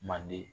Manden